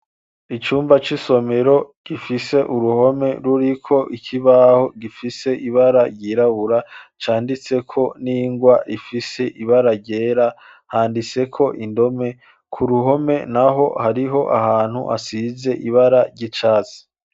Icumba c'i somero gifise uruhome ruriko ikibaho gifise ibara ryirabura canditseko n'ingwa rifise ibara ryera handitseko indome ku ruhome na ho hariho ahantu hasize ibara ry'icatsi.